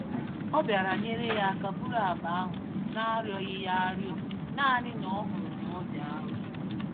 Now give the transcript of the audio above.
Ọ bịara nyèrè ya áká búrú akpa ahụ narịọghị yá arịọ, nanị na ọhụrụ n'ọdị arụ